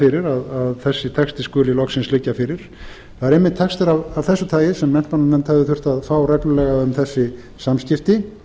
fyrir að þessi texti skuli loksins liggja fyrir það eru einmitt textar af þessu tagi sem menntamálanefnd hefði þurft að fá reglulega um þessi samskipti